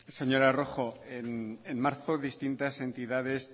señora rojo en marzo distintas entidades